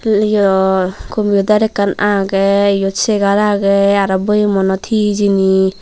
liyol computer ekkan agey yot segar agey aro boyemunot hee hijeni.